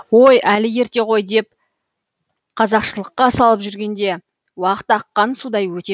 ой әлі ерте ғой деп қазақшылыққа салып жүргенде уақыт аққан судай өте